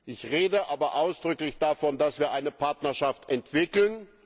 Ich rede aber ausdrücklich davon, dass wir eine Partnerschaft entwickeln.